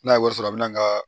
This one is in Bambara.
N'a ye wari sɔrɔ a bɛ na ka